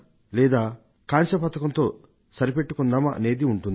లేదా కాంస్యంతో సరిపెట్టుకుందామా అనే ఆలోచనే ఉంటుంది